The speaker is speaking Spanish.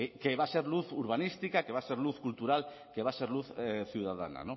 que va a ser luz urbanística que va a ser luz cultural que va a ser luz ciudadana